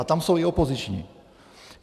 A tam jsou i opoziční.